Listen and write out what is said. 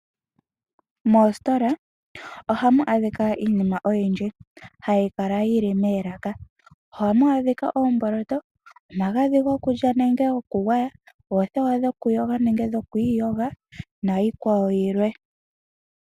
Moositola oha mu adhika iinima oyindji, hayi kala yili moolaka. Oha mu adhika oomboloto, omagadhi gokulya nenge gokugwaya, oothewa dhokuyoga nenge dhokwiiyoga niikwawo yilwe.